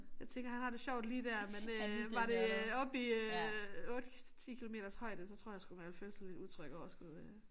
Jeg tænker han har det sjovt lige der men øh var det øh oppe i øh 8 10 kilometers højde så tror jeg sgu man ville føle sig lidt utryg over at skulle øh